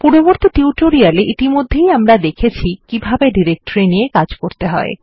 পূর্ববর্তী টিউটোরিয়াল এ ইতিমধ্যে আমরা দেখেছি কিভাবে ডিরেক্টরি নিয়ে কাজ করতে হয়